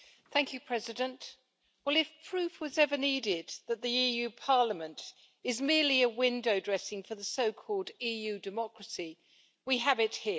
Mr President, well if proof was ever needed that the EU parliament is merely window-dressing for the so called EU democracy, we have it here.